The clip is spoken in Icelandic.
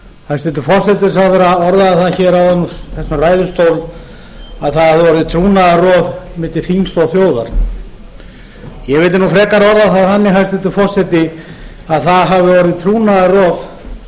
hæstvirtur forsætisráðherra orðaði það hér áðan úr þessum ræðustól að það hafi orðið trúnaðarrof milli þings og þjóðar ég vildi frekar orða það þannig hæstvirtur forseti að það hafi orðið trúnaðarrof